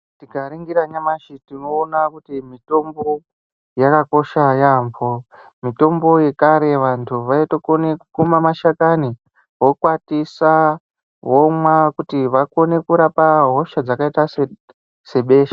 Tikaningira nyamashi tinoona kuti mutombo yakakosha yaamboo. Mitombo yekare vantu vaitokone kukuma mashakani vokwatisaa vomwa kuti vakone kurapa hosha dzakaita sebesha.